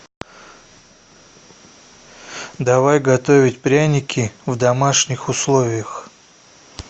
давай готовить пряники в домашних условиях